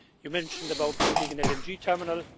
You mentioned about building an LNG terminal